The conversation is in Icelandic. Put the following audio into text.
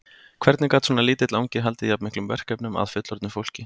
Hvernig gat svona lítill angi haldið jafn miklum verkefnum að fullorðnu fólki?